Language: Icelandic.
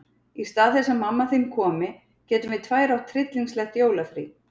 Í stað þess að mamma þín komi getum við tvær átt tryllingslegt jólafrí.